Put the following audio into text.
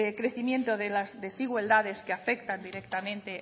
crecimiento de las desigualdades que afectan directamente